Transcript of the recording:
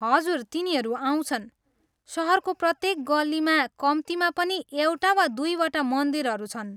हजुर, तिनीहरू आउँछन्। सहरको प्रत्येक गल्लीमा कम्तीमा पनि एउटा वा दुईवटा मन्दिरहरू छन्।